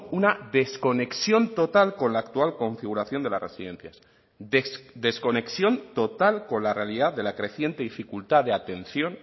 una desconexión total con la actual configuración de las residencias desconexión total con la realidad de la creciente dificultad de atención